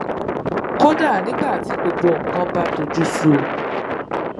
kódà nígbà tí gbogbo nǹkan bá tojú sú u